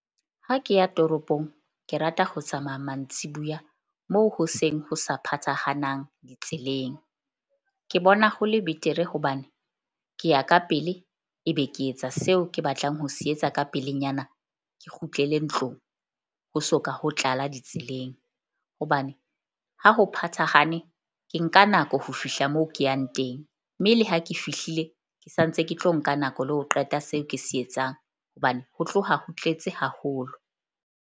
Ha ke ya toropong, ke rata ho tsamaya mantsibuya moo hoseng ho sa phathahanang ditseleng. Ke bona ho le betere hobane ke ya ka pele. Ebe ke etsa seo ke batlang ho se etsa ka pelenyana ke kgutlele ntlong, ho soka ho tlala ditseleng hobane ha ho phathahane ke nka nako ho fihla moo ke yang teng. Mme le ha ke fihlile, ke sa ntse ke tlo nka nako le ho qeta se ke se etsang, hobane ho tloha ho tletse haholo.